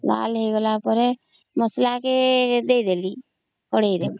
ଲାଲ ହେଇଗଲା ପରେ ମସଲା କେ ଦେଇଦେଲି କଡେଇ ରେ